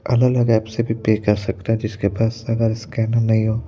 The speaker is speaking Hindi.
अलग-अलग ऐप से भी पे कर सकता है जिसके पास अगर स्कैनर नहीं हो।